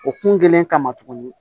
O kun kɛlen kama tugunni